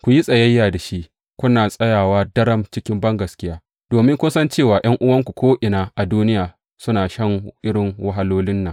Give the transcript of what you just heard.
Ku yi tsayayya da shi, kuna tsayawa daram cikin bangaskiya, domin kun san cewa ’yan’uwanku ko’ina a duniya suna shan irin wahalolin nan.